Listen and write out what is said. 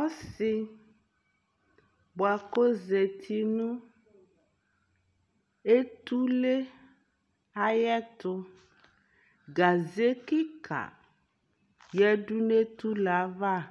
ɔsii bʋakʋ ɔzati nʋ ɛtʋlɛ ayɛtʋ, gazɛ kikaa yɛdʋ nʋ ɛtʋlɛ aɣa kʋ